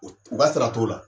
O t u ka sara t'ola